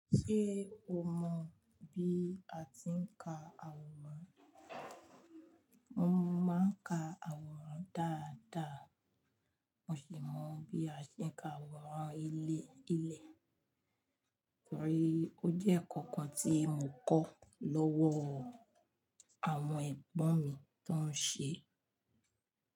Ṣé o mọ bí a ti ń ka àwòrán? Mo máa ń ka àwòrán dáadáa. Mo sì mọ bí a ṣe ń ka àwòrán ilé ilẹ̀. Torí ó jẹ́ nkankan tí mo kọ́ lọ́wọ́ àwọn ẹ̀gbọ́n mi tó ń ṣe é.